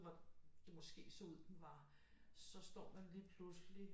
Hvor det måske så ud den var så står man lige pludselig